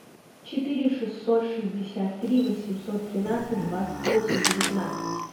четыре шестьсот шестьдесят три восемьсот тринадцать двадцать восемь девятнадцать